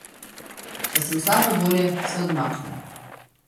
Če sem slabe volje, se odmaknem.